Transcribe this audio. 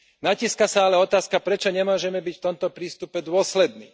Natíska sa ale otázka, prečo nemôžeme byť v tomto prístupe dôslední.